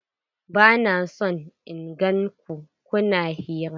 Bana son in gan ku kuna hira!